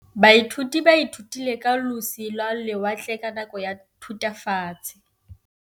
Baithuti ba ithutile ka losi lwa lewatle ka nako ya Thutafatshe.